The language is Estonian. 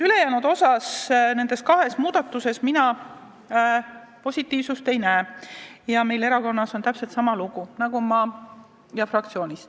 Ülejäänud kahes muudatuses mina positiivsust ei näe ja meie fraktsioon ja erakond on täpselt samal seisukohal.